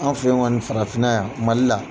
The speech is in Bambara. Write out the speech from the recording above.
An' fe ye ŋɔni, farafinna yan, Mali la.